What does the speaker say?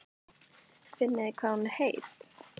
Finnið þið hvað hún er heit?